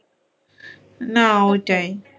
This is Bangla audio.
না ওইটাই